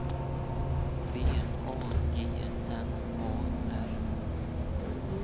V A G N A R